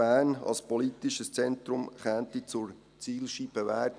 Bern, als politisches Zentrum, könnte zur Zielscheibe werden.